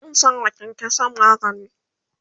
zan sawa kyankyansan magani